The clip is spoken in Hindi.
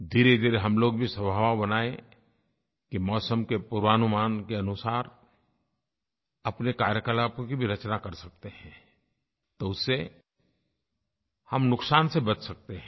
धीरेधीरे हम लोग भी स्वभाव बनाएँ कि मौसम के पूर्वानुमान के अनुसार अपने कार्यकलापों की भी रचना कर सकते हैं तो उससे हम नुकसान से बच सकते हैं